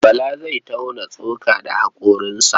Bala zai tauna tsoka da haƙoransa.